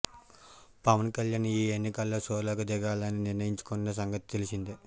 పవన్ కళ్యాణ్ ఈ ఎన్నికల్లో సోలోగా దిగాలని నిర్ణయించుకున్న సంగతి తెలిసిందే